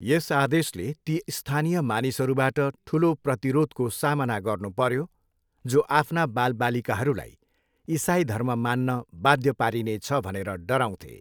यस आदेशले ती स्थानीय मानिसहरूबाट ठुलो प्रतिरोधको सामना गर्नुपऱ्यो, जो आफ्ना बालबालिकाहरूलाई इसाई धर्म मान्न बाध्य पारिनेछ भनेर डराउँथे।